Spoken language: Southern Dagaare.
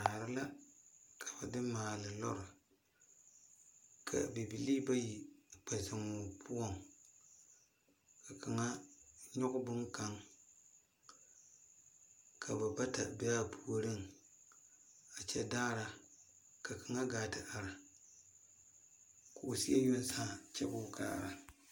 Daare la ka ba de maale lɔri ka bibilii bayi kye zeng ɔ pou ka kanga nyuge bung kang ka ba bata be a poɔring a kye daara ka kanga gaa te arẽ kuu seɛ yong saã kye kuu kaara.